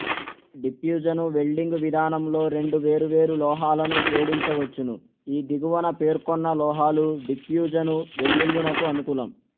diffusion welding విధానంలో రెండు వేరువేరు లోహాలను జోడించవచ్చును ఈ దిగువన పేర్కొన్న లోహాలు డిప్యూజను వెల్డింగునకు అనుకూలం